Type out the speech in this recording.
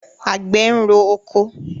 Àgbẹ̀ ń rọ oko.